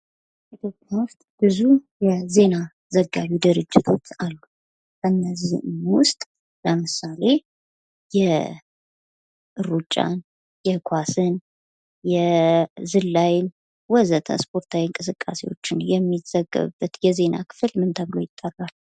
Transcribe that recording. ኢትዮጵያ ውስጥ ብዙ የዜና ዘጋቢ ድርጅቶች አሉ ። ከእነዚህም ውስጥ ለምሳሌ የሩጫን ፣ የኳስን ፣ የዝላይን ወዘተ ስፖርታዊ እንቅስቃሴዎችን የሚዘገብበት የዜና ክፍል ምን ተብሎ ይጠራል ?